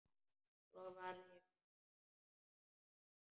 Svo varð ég mamma.